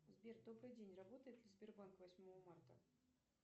сбер добрый день работает ли сбербанк восьмого марта